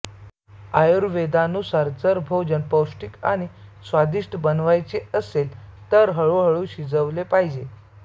आयुर्वेदानुसार जर भोजन पौष्टिक आणि स्वादिष्ट बनवायचे असेल तर ते हळू हळू शिजवले पाहिजे